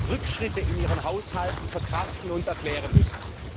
Rückschritte in ihren Haushalten verkraften und erklären müssen.